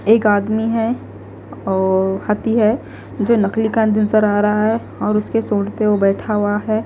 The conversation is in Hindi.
एक आदमी है औओ हथी है जो नकली कान भी सरा रहा है और उसके सूँड पे वो बैठा हुआ है।